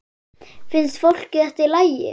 Finnst fólki þetta í lagi?